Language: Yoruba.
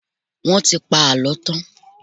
Wọ́n ti pa àlọ́ tán.